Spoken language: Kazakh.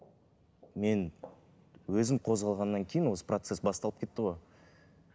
мен өзім қозғалғаннан кейін осы процесс басталып кетті ғой